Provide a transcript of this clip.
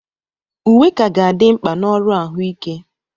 Uwe ka ga-adị mkpa na ọrụ ahụike.